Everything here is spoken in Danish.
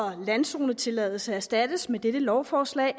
landzonetilladelse erstattes med dette lovforslag